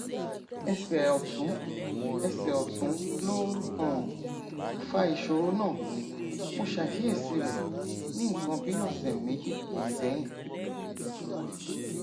ẹsẹ ọtún ẹsẹ ọtún ló um fa ìṣòro náà mo ṣàkíyèsí rẹ ní nǹkan bí ọsẹ méjì sẹyìn